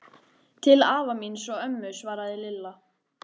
Til afa míns og ömmu svaraði Lilla.